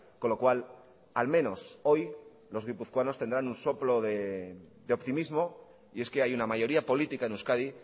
con lo cual al menos hoy los guipuzcoanos tendrán un soplo de optimismo y es que hay una mayoría política en euskadi